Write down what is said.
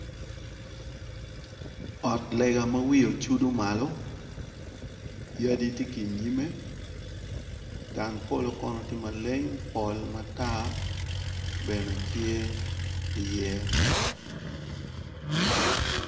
Ot lega ma wiye ocudo malo, yadi tye ki inyime dang polo kono tye maleng, polo matar bene tye i ye.